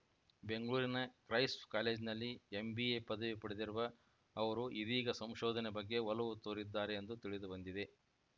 ಬೆಂಗಳೂರಿನ ಕ್ರೈಸ್ವ್‌ ಕಾಲೇಜಿನಲ್ಲಿ ಎಂಬಿಎ ಪದವಿ ಪಡೆದಿರುವ ಅವರು ಇದೀಗ ಸಂಶೋಧನೆ ಬಗ್ಗೆ ಒಲವು ತೋರಿದ್ದಾರೆ ಎಂದು ತಿಳಿದುಬಂದಿದೆ